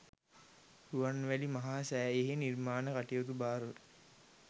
රුවන්මැලි මහා සෑයෙහි නිර්මාණ කටයුතු භාරව